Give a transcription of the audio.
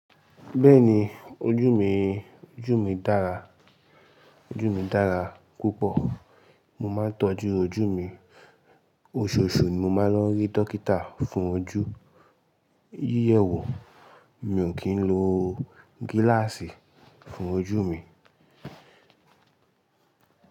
Bẹ́ẹ̀ni ojú mi, ojú mi dára, ojú mi dára púpọ̀. Mo máa ń tọ́jú ojú mi. Oṣooṣù ni mo máa ń lọ rí dókítà fún ojú. Yíyẹwo mi ò kí ń lo gíláàsì fún ojú mi.